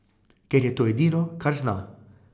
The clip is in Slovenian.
Ker je to edino, kar zna.